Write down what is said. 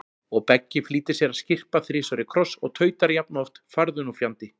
Og Beggi flýtir sér að skyrpa þrisvar í kross og tautar jafnoft farðu nú fjandi